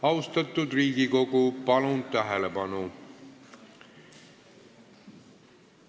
Austatud Riigikogu, palun tähelepanu!